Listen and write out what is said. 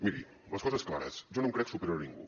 miri les coses clares jo no em crec superior a ningú